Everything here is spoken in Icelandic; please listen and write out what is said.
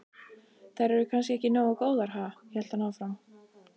Þær eru kannski ekki nógu góðar, ha? hélt hann áfram.